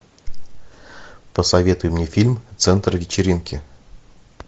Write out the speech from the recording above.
посоветуй мне фильм центр вечеринки